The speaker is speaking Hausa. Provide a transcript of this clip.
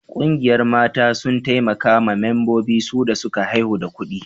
Ƙungiyar mata sun taimaka ma mambobin su da suka haihu da kudi